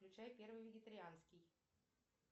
включай первый вегетарианский